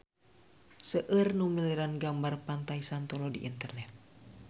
Seueur nu milarian gambar Pantai Santolo di internet